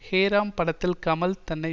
ஹே ராம் படத்தில் கமல் தன்னை